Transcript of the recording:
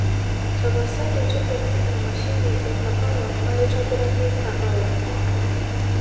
tapasali tudumu emashini ekahawa maitobiraki kahawa